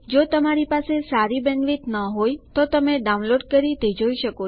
જો તમારી પાસે સારી બેન્ડવિડ્થ ન હોય તો તમે ડાઉનલોડ કરીને તે જોઈ શકો છો